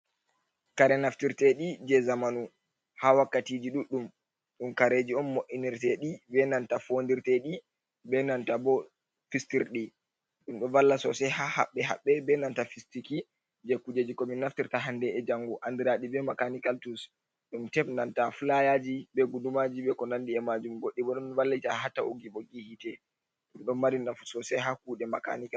Kare naftirteeɗi jey zamanu, haa wakkatiji ɗuɗɗum, ɗum kareeji on mo’inirteeɗi, be nanta foondirteeɗi, be nanta bo fistirɗi. Ɗum ɗo valla soosay haa haɓɓe haɓɓe, e nanta fistiki jey kujeji, ko mi naftirta hande be janngo, anndiraaɗi be makaanikal tus. Ɗum teb, be nanta fulayaaji, be gudumaaji, be ko nanndi e majum. Goɗɗi bo, ɗon vallita haa ta’ugi ɓoggi yiite, ɗum ɗo mari nfu soosay, haa kuuɗe makaanikal.